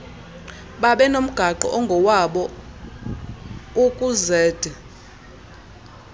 babenomgaqo ongowabo ukuzed